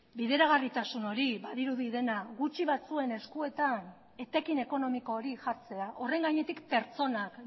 bideragarritasun hori badirudi dena gutxi batzuen eskuetan etekin ekonomiko hori jartzea horren gainetik pertsonak